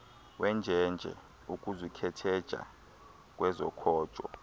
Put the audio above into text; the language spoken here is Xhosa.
wenjenje ukuzikhetheja kwezokhojo